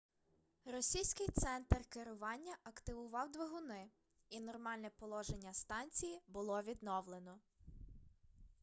російський центр керування активував двигуни і нормальне положення станції було відновлено